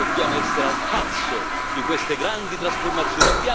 Dobbiamo essere al passo con queste grandi trasformazioni.